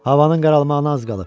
Havanın qaralmağına az qalıb.